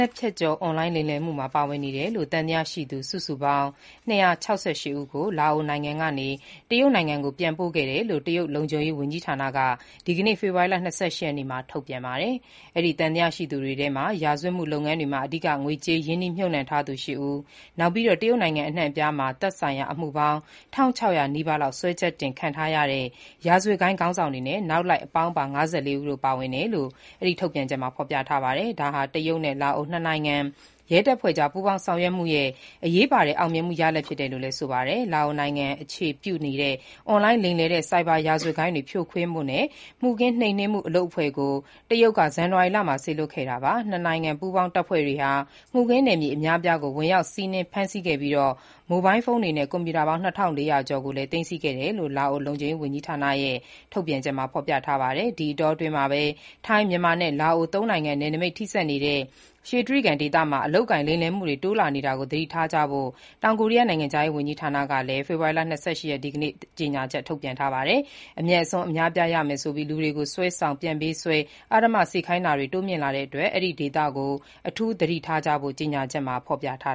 ပ်ဖြတ်ကျော် အွန်လိုင်းလိမ်လည်မှုမှာ ပါ၀င်နေတယ်လို့ သံသယရှိသူ စုစုပေါင်း ၂၆၈ ဦးကို လာအိုက တရုတ်နိုင်ငံကို ပြန်ပို့ခဲ့ကြောင်း တရုတ် လုံခြုံရေးဝန်ကြီးဌာနက ဒီကနေ့ ဖေဖော်ဝါရီ ၂၈ ရက်နေ့မှာ ထုတ်ပြန်ပါတယ်။ အဲဒီသံသယရှိသူတွေထဲမှာ ရာဇ၀တ်မှုလုပ်ငန်းတွေမှာ အဓိက ငွေကြေးရင်းနှီးမြှုပ်နှံထားသူ ၈ ဦး၊ နောက်ပြီး တရုတ်နိုင်ငံအနှံ့အပြားမှာ သက်ဆိုင်ရာအမှုပေါင်း ၁,၆၀၀ နီးပါးလောက် စွဲချက်တင်ခံထားရတဲ့ ရာဇ၀တ်ဂိုဏ်းခေါင်းဆောင်တွေနဲ့ နောက်လိုက်အပေါင်းပါ ၅၄ ဦး တို့ပါ၀င်ကြောင်း အဲဒီထုတ်ပြန်ချက်မှာ ဖေါ်ပြထားပါတယ်။ ဒါဟာ တရုတ်နဲ့ လာအို နှစ်နိုင်ငံ ရဲတပ်ဖွဲ့ ကြား ပူးပေါင်းဆောင်ရွက်မှုရဲ့ အရေးပါတဲ့ အောင်မြင်မှုရလာဒ်ဖြစ်တယ်လို့ ဆိုပါတယ်။ လာအိုနိုင်ငံအခြေပြုနေတဲ့ အွန်လိုင်းလိမ်လည်တဲ့ ဆိုက်ဘာ ရာဇ၀တ်ဂိုဏ်းတွေ ဖြိုခွဲဖို့ မှုခင်းနှိမ်နင်းမှု အလုပ်အဖွဲ့ကို တရုတ်က ဇန်န၀ါရီလမှာ စေလွှတ်ခဲ့တာပါ။ နှစ်နိုင်ငံ ပူးပေါင်းတပ်ဖွဲ့ တွေဟာ မှုခင်းနယ်မြေအများအပြားကို ဝင်ရောက်စီးနင်းဖမ်းဆီးနှိမ်နင်းခဲ့ပြီး မိုဘိုင်းလ်ဖုန်းတွေနဲ့ ကွန်ပျူတာ ပေါင်း၂,၄၀၀ ကျော်ကို သိမ်းဆည်းခဲ့တယ်လို့ လာအိုလုံခြုံရေး၀န်ကြီးဌာနရဲ့ ထုတ်ပြန်ချက်မှာဖေါ်ပြထားပါတယ်။ ဒီအတောအတွင်းမှာပဲ ထိုင်း၊ မြန်မာနဲ့ လာအိုသုံးနိုင်ငံ နယ်နိမိတ်ထိစပ်နေတဲ့ "ရွှေတြိဂံ" ဒေသမှာ အလုပ်အကိုင် လိမ်လည်မှုတွေ တိုးလာနေတာကို သတိထားကြဖို့ တောင်ကိုရီးယားနိုင်ငံခြားရေး၀န်ကြီးဌာနကလည်း ဒီကနေ့ ဖေဖော်ဝါရီ ၂၈ ရက်နေ့မှာကြေညာချက် ထုတ်ပြန်ထားပါတယ်။ အမြတ်အစွန်းအများအပြားရမယ်ဆိုပြီးလူတွေကို ဆွဲဆောင် ပြန်ပေးဆွဲ အဓမ္မ အလုပ်စေခိုင်းတာတွေ တိုးမြင့်လာတဲ့အတွက် အဲဒီဒေသကို အထူးသတိထားဖို့ ကြေညာချက်မှာ ဖေါ်ပြထား